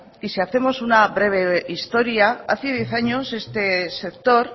y si hacemos una breve historia hace diez años este sector